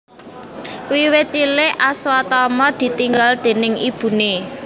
Wiwit cilik Aswatama ditinggal déning ibune